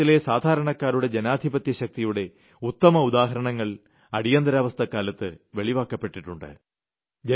ഭാരതത്തിലെ സാധാരണക്കാരുടെ ജനാധിപത്യശക്തിയുടെ ഉത്തമ ഉദാഹരണങ്ങൾ അടിയന്തിരാവസ്ഥക്കാലത്ത് വെളിവാക്കപ്പെട്ടിട്ടുണ്ട്